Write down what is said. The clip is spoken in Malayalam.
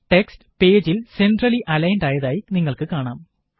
ടെക്സ്റ്റ് പേജില് സെന്ട്രലി അലൈന്ഡ് ആയതായി നിങ്ങള്ക്ക് കാണാം